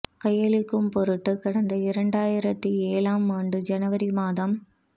கையளிக்கும் பொருட்டும் கடந்த இரண்டாயிரத்து ஏழாம் ஆண்டு ஜனவரி மாதம்